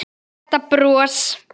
Þetta bros!